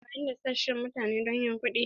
Ana amfani da sashen mutane don yin kuɗi.